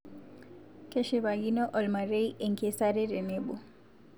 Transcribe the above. Keshipakino ormarei enkesare tenebo